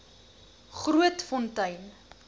grootfontein